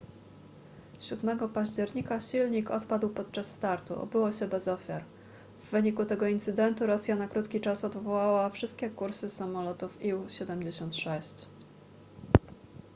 7 października silnik odpadł podczas startu obyło się bez ofiar w wyniku tego incydentu rosja na krótki czas odwołała wszystkie kursy samolotów ił-76